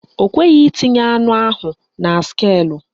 Ọ kweghị itinye anụ ahụ na skeelụ